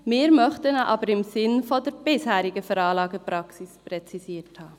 Wir möchten ihn aber im Sinne der bisherigen Anlagepraxis präzisiert haben.